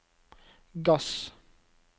gass